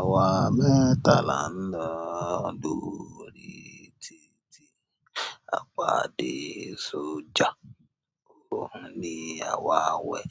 Àwa mẹ́ta là ń lọ, lórí títí, a pà dé sójà, ó ní á wá wẹ̀.